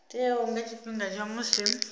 teaho nga tshifhinga tsha musi